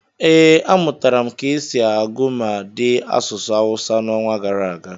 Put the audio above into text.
ee, amụtara m ka esi agụ ma dee asụsụ Awụsa n'ọnwa gara aga